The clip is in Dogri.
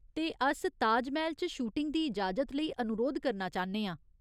ते अस ताजमैह्‌ल च शूटिंग दी इजाजत लेई अनुरोध करना चाह्न्ने आं।